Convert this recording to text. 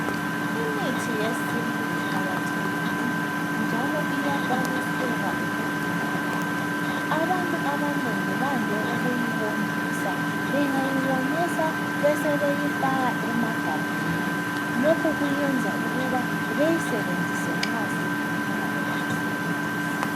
Imithi yesintu iqakathekile njalo iyakwaniseka ukugcinakala. Abantu abanengi bande ukuyiwomisa. Bengayiwomisa besebeyifaka emagabheni. Lokhu kuyenza beyisebenzise nxa sebefuna ukuyisebenzisa.